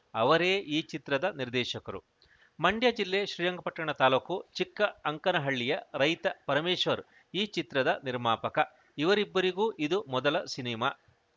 ಅವರೇ ಈ ಚಿತ್ರದ ನಿರ್ದೇಶಕರು ಮಂಡ್ಯಜಿಲ್ಲೆ ಶ್ರೀರಂಗಪಟ್ಟಣ ತಾಲೂಕು ಚಿಕ್ಕ ಅಂಕನಹಳ್ಳಿಯ ರೈತ ಪರಮೇಶ್ವರ್‌ ಈ ಚಿತ್ರದ ನಿರ್ಮಾಪಕ ಇವರಿಬ್ಬರಿಗೂ ಇದು ಮೊದಲ ಸಿನಿಮಾ